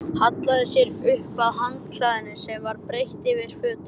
Hallaði sér upp að handklæðinu sem var breitt yfir fötin.